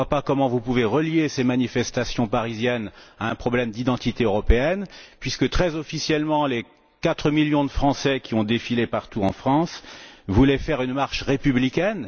Je ne vois pas comment vous pouvez relier ces manifestations parisiennes à un problème d'identité européenne puisque, très officiellement, les 4 millions de Français qui ont défilé partout en France voulaient faire une marche républicaine.